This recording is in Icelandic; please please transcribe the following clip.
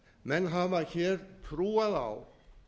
menn hafa hér trúað á